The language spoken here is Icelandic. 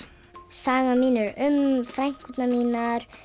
sagan mín er um frænkurnar mínar